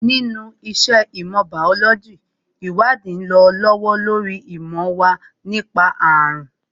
Nínú iṣẹ́ ìmọ̀ bàólójī, ìwádìí ń lọ lọ́wọ́ lórí ìmọ̀ wa nípa àrùn